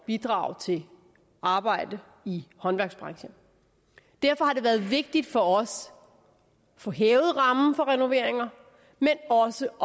bidrage til arbejde i håndværksbranchen derfor har det været vigtigt for os at få hævet rammen for renoveringer men også